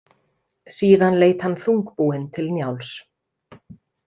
Síðan leit hann þungbúinn til Njáls.